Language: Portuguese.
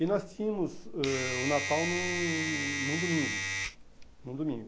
E nós tínhamos ãh o Natal num num domingo, num domingo.